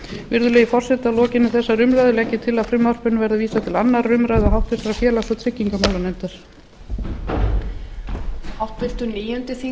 virðulegi forseti að lokinni þessari umræðu legg ég til að frumvarpinu verði vísað til annarrar umræðu og háttvirtur félags og tryggingamálanefndar